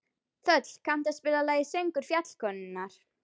Þöll, kanntu að spila lagið „Söngur fjallkonunnar“?